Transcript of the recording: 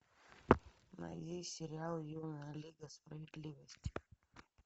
найди сериал юная лига справедливости